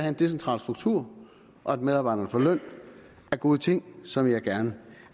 en decentral struktur og at medarbejderne får løn er gode ting som jeg gerne